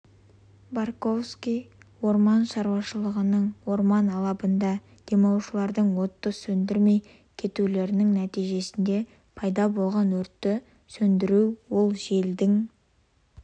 борковский орман шаруашылығының орман алабында демалушылардың отты сөндірмей кетулерінің нәтижесінде пайда болған өртті сөндіру ол желдің